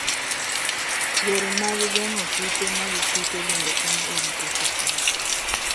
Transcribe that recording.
Yore mag geng'o kute mag kute bende konyo e rito kichgi.